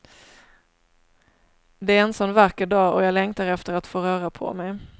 Det är en sån vacker dag och jag längtar efter att få röra på mig.